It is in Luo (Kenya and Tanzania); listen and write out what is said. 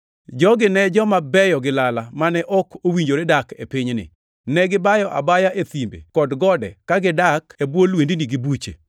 jogi ne joma beyo gi lala mane ok owinjore dak e pinyni. Negibayo abaya e thimbe kod gode ka gidak e bwo lwendni gi buche.